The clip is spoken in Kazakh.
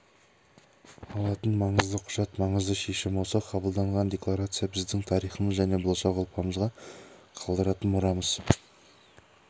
алатын маңызды құжат маңызды шешім осы қабылданған декларация біздің тарихымыз және болашақ ұрпағымызға қалдыратын мұрамыз